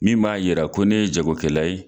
Min m'a yira ko ne ye jago kɛla ye.